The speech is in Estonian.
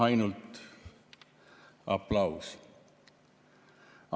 Ainult aplaus!